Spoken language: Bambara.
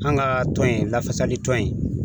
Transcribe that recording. An ka tɔn in, lafasali tɔn in,